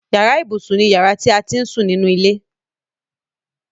Yàrá ibùsùn ni yàrá ti à á ti ń sún nínú ilé.